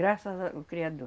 Graças a o Criador.